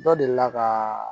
Dɔ delila ka